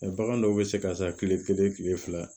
bagan dɔw bɛ se ka san kile kelen kile fila